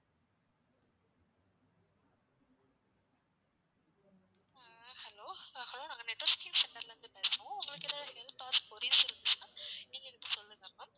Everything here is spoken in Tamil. ஆஹ் hello hello ஆஹ் நாங்க networking center ல இருந்து பேசுறோம் உங்களுக்கு ஏதாவது help or queries இருந்துச்சுன்னா நீங்க எனக்கு சொல்லுங்க ma'am